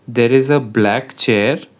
there is a black chair.